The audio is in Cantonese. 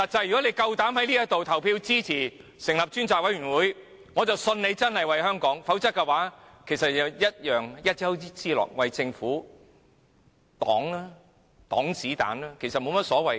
如果他們膽敢在此投票支持成立專責委責會，我便相信他們真的是為香港，否則同樣是一丘之貉，只是為政府擋子彈。